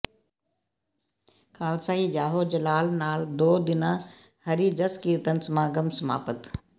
ਖ਼ਾਲਸਾਈ ਜਾਹੋ ਜਲਾਲ ਨਾਲ ਦੋ ਦਿਨਾ ਹਰਿ ਜੱਸ ਕੀਰਤਨ ਸਮਾਗਮ ਸਮਾਪਤ